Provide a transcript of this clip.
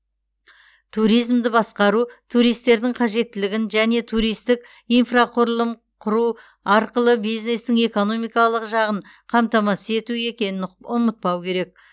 туризмді басқару туристердің қажеттілігін және туристік инфрақұрылым құру арқылы бизнестің экономикалық жағын қамтамасыз ету екенін ұмытпау керек